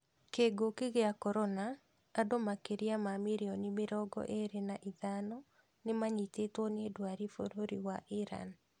Kingũki kia corona:Andũ makĩria ma mirioni mĩrongo ĩĩri na ithano nĩmanyitĩtwe nĩ ndwari bũrũri wa Iran